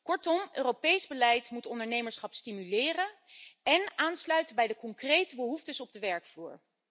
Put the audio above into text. Kortom, Europees beleid moet ondernemerschap stimuleren en aansluiten bij de concrete behoeftes op de werkvloer.